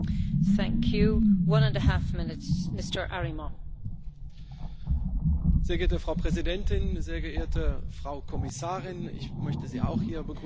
Frau Präsidentin, sehr geehrte Frau Kommissarin ich möchte Sie auch hier begrüßen an der anderen Seite des Tisches und wünsche uns allen gute Zusammenarbeit werte Kolleginnen und Kollegen!